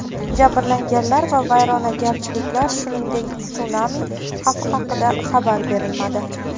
Jabrlanganlar va vayronagarchiliklar, shuningdek, sunami xavfi haqida xabar berilmadi.